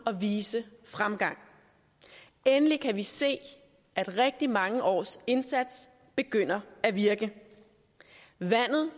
at vise fremgang endelig kan vi se at rigtig mange års indsats begynder at virke vandet